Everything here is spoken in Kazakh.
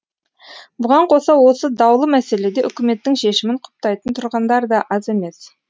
бұған қоса осы даулы мәселеде үкіметтің шешімін құптайтын тұрғындар да аз емес